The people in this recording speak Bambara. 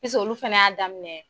olu fɛnɛ y'a daminɛ.